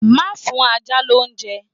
Má fún ajá lóúnjẹ.